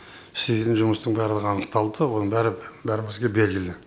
істейтін жұмыстың барлығы анықталды оның бәрі бәрімізге белгілі